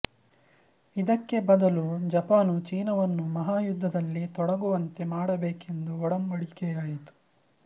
ಇದಕ್ಕೆ ಬದಲು ಜಪಾನು ಚೀನವನ್ನು ಮಹಾಯುದ್ಧದಲ್ಲಿ ತೊಡಗುವಂತೆ ಮಾಡಬೇಕೆಂದು ಒಡಂಬಡಿಕೆಯಾಯಿತು